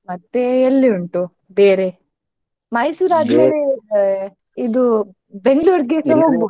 ಮತ್ತೆ ಎಲ್ಲಿ ಉಂಟು ಬೇರೆ Mysore ಆದ್ಮೇಲೆ ಅ ಇದು ?